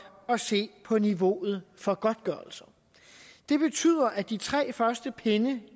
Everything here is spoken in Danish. at se på niveauet for godtgørelser det betyder at de tre første pinde